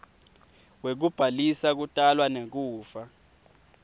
wekubhalisa kutalwa nekufa